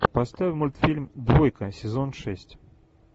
поставь мультфильм двойка сезон шесть